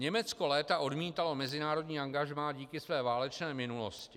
Německo léta odmítalo mezinárodní angažmá díky své válečné minulosti.